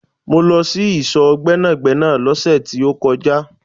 Mó lọ sí ìsò Gbẹ́nàgbẹ́nà lóse tí ó kọjá